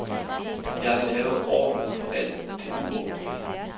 Jeg vil have orden på alt det uordentlige.